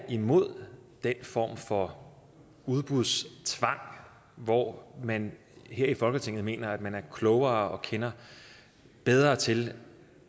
imod den form for udbudstvang hvor man her i folketinget mener at man er klogere og kender bedre til